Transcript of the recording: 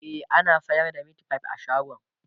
e ana sayar da meatfie a shagon